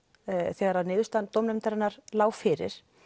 þegar niðurstaða dómnefndarinnar lá fyrir